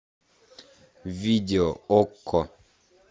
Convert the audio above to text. видео окко